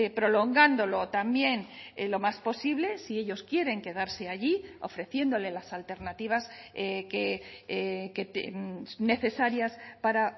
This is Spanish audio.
prolongándolo también lo más posible si ellos quieren quedarse allí ofreciéndole las alternativas que necesarias para